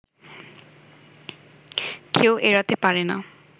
কেউ এড়াতে পারেনা